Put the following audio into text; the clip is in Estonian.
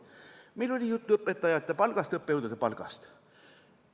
Meil oli juttu õpetajate palgast ja õppejõudude palgast.